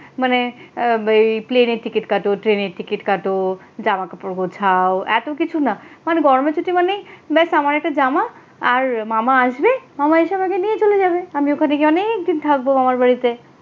মানে আব প্লেনের টিকিট কাটো, ট্রেনের টিকিট কাটো জামা কাপড় গোছাও এতকিছু না গরমের ছুটি মানেই বাস আমার একটা জামা আর মামা আসবে মামা এসে আমাকে নিয়ে চলে যাবে আমি ওখানে গিয়ে অনেক দিন থাকবো মামার বাড়িতে।